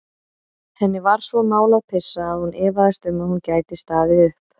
Henni var svo mál að pissa að hún efaðist um að hún gæti staðið upp.